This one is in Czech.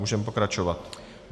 Můžeme pokračovat.